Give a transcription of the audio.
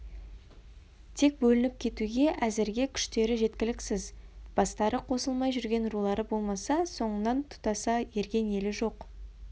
тек бөлініп кетуге әзірге күштері жеткіліксіз бастары қосылмай жүрген рулары болмаса соңынан тұтаса ерген елі жоқ